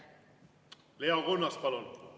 Leo Kunnas, palun!